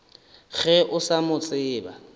ge o sa mo tsebe